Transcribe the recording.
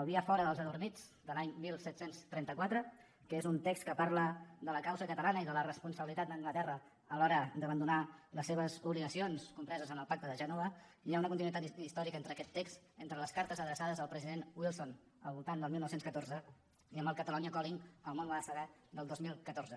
el via fora els adormits de l’any disset trenta quatre que és un text que parla de la causa catalana i de la responsabilitat d’anglaterra a l’hora d’abandonar les seves obligacions compreses en el pacte de gènova hi ha una continuïtat històrica entre aquest text les cartes adreçades al president wilson al voltant del dinou deu quatre i amb el catalonia calling el món ho ha de saber del dos mil catorze